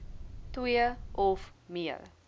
twee of meer